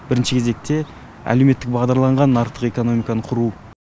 бірінші кезекте әлеуметтік бағдарланған нарықтық экономиканы құру